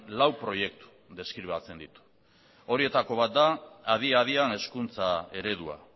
lau proiektu deskribatzen ditu horietako bat da adia adian hezkuntza eredua